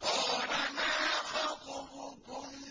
قَالَ مَا خَطْبُكُنَّ